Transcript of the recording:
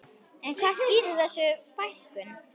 En hvað skýrir þessa fækkun?